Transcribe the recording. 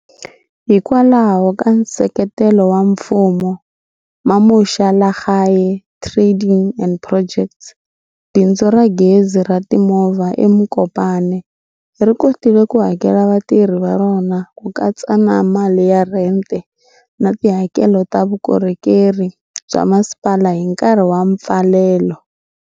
Hikwalaho ka nseketelo wa mfumo, Mamosha lagae Trading and Projects, bindzu ra gezi ra timovha eMokopane, ri kotile ku hakela vatirhi va rona ku katsa na mali ya rhente na tihakelo ta vukorhokeri bya masipala hi nkarhi wa mpfalelo.